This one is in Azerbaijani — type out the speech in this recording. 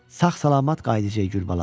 Sağ-salamat qayıdacağıq Gülbala.